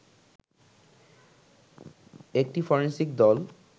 একটি ফরেন্সিক দল